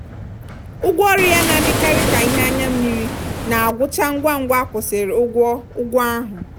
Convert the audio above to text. ụgwọọrụ ya na-adịkarị ka ihe anya mmiri na-agwụcha ngwa ngwa akwụsiri ụgwọ ụgwọ ahụ.